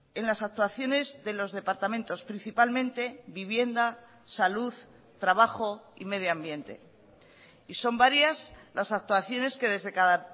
en las actuaciones de los departamentos principalmente vivienda salud trabajo y medio ambiente y son varias las actuaciones que desde cada